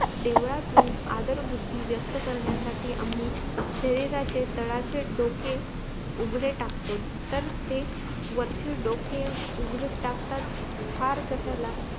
देवळातून आदर बुद्धी व्यक्त करण्यासाठी आम्ही शरीराचे तडाचे डोके उघडे टाकतो तर ते वरचे डोके उघडे टाकतात फार कशाला